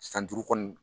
San duuru kɔni